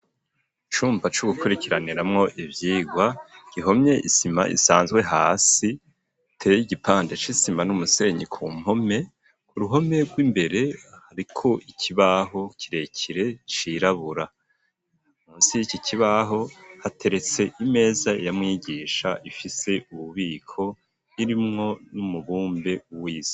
Icumba co gukurikiraniramwo ivyirwa gihomye isima isanzwe hasi hateye igipande c' isima n'umusenyi ku mpome ku ruhome rw'imbere hariko ikibaho kirekire cirabura munsi yiki kibaho hateretse imeza ya mwigisha ifise ububiko irimwo n'umubumbe wisi.